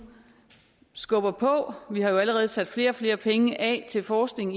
skubber på vi har jo allerede sat flere flere penge af til forskning